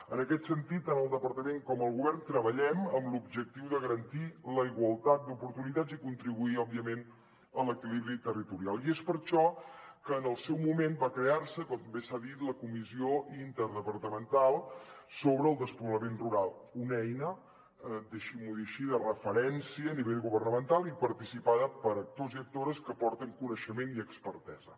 en aquest sentit tant el departament com el govern treballem amb l’objectiu de garantir la igualtat d’oportunitats i contribuir òbviament a l’equilibri territorial i és per això que en el seu moment va crear se com bé s’ha dit la comissió interdepartamental sobre despoblament rural una eina deixin m’ho dir així de referència a nivell governamental i participada per actors i actores que aporten coneixement i expertesa